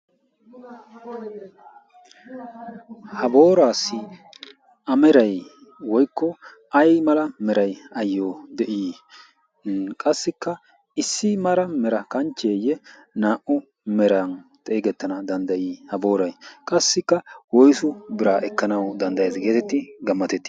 ha booraassi amerai woykko ay mala meray ayyo de'ii qassikka issi mara mera kanchcheeyye naa"u meran xeegettana danddayii ?ha boorai qassikka woisu biraa ekkanau danddayae geetetti gammatetti?